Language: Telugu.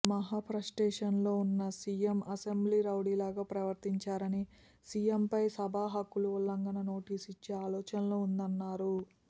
మహా ఫ్రస్ట్రేషన్లో వున్న సీఎం అసెంబ్లీ రౌడీలాగా ప్రవర్తించారని సీఎంపై సభా హక్కుల ఉల్లంఘన నోటీస్ ఇచ్చే ఆలోచన ఉందన్నారు